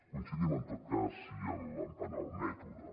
coincidim en tot cas sí en el mètode